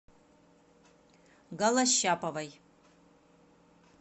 голощаповой